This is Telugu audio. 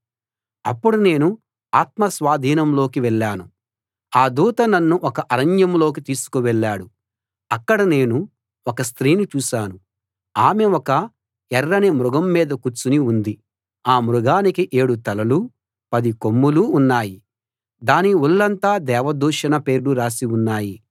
అప్పుడు నేను ఆత్మ స్వాధీనంలోకి వెళ్ళాను ఆ దూత నన్ను ఒక అరణ్యంలోకి తీసుకు వెళ్ళాడు అక్కడ నేను ఒక స్త్రీని చూశాను ఆమె ఒక ఎర్రని మృగం మీద కూర్చుని ఉంది ఆ మృగానికి ఏడు తలలూ పది కొమ్ములూ ఉన్నాయి దాని ఒళ్ళంతా దేవ దూషణ పేర్లు రాసి ఉన్నాయి